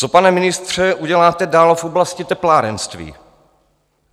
Co, pane ministře, uděláte dál v oblasti teplárenství?